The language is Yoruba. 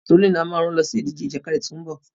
Tolú ni a máa rán lọ sí ìdíje ìjàkadì tí ó ń bọ̀.